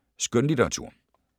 Skønlitteratur